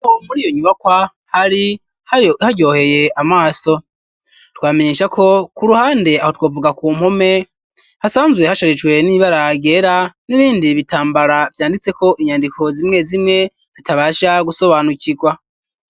Muri iyo nyubakwa, hari haryoheye amaso ,twamenyesha ko ku ruhande aho twavuga ku mpome hasanzwe hasharijwe n'ibara ryera, n'ibindi bitambara vyanditse ko inyandiko, zimwe zimwe zitabasha gusobanukirwa.